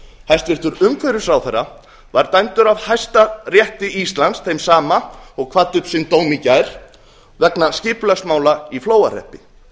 hæstvirtur umhverfisráðherra var dæmdur af hæstarétti íslands þeim sama og kvaddi upp sinn dóm í gær vegna skipulagsmála í flóahreppi